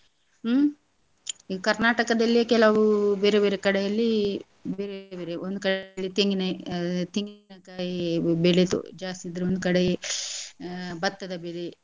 ಹ್ಮ್ ಈಗ್ ಕರ್ನಾಟಕದಲ್ಲಿ ಕೆಲವು ಬೇರೇ ಬೇರೇ ಕಡೆಯಲ್ಲಿ ಬೇರೆ ಬೇರೆ ಒಂದ್ ಕಡೆ ತೆಂಗಿನ~ ತೆಂಗಿನಕಾಯಿ ಬೆಳೆದು ಜಾಸ್ತಿ ಇದ್ರೆ ಒಂದ್ ಕಡೆ ಭತ್ತದ ಬೆಳೆ.